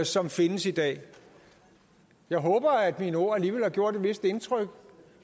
som findes i dag jeg håber at mine ord alligevel har gjort et vist indtryk